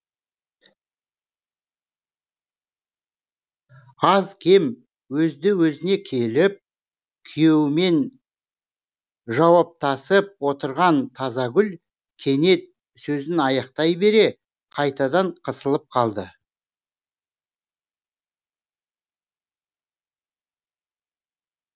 аз кем өзді өзіне келіп күйеуімен жауаптасып отырған тазагүл кенет сөзін аяқтай бере қайтадан қысылып қалды